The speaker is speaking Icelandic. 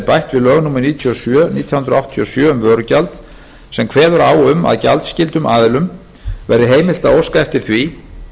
bætti við lög númer níutíu og sjö nítján hundruð áttatíu og sjö um vörugjald sem kveður á um að gjaldskyldum aðilum verði heimilt að óska eftir því